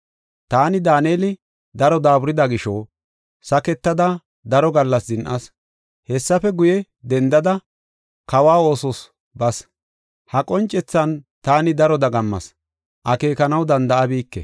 Taani Daaneli, daro daaburida gisho, saketada daro gallas zin7as. Hessafe guye, dendada, kawa oosos bas. Ha qoncethan taani daro dagammas; akeekanaw danda7abike.